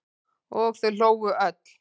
Og þau hlógu öll.